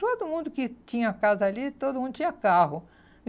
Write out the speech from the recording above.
Todo mundo que tinha casa ali, todo mundo tinha carro.